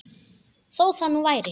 Þó það nú væri!